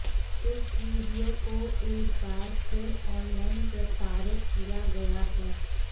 इस वीडियो को एक बार फिर ऑनलाइन प्रसारित किया गया है